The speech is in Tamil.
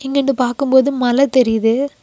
இங்க இருந்து பாக்கும்போது மல தெரிது.